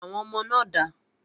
Àwọn ọmọ náà dà?